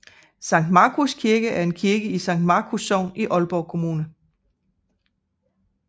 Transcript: Sankt Markus Kirke er en kirke i Sankt Markus Sogn i Aalborg Kommune